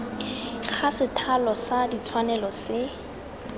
ga sethalo sa ditshwanelo se